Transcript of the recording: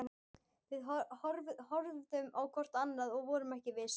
Við horfðum hvort á annað- og vorum ekki viss.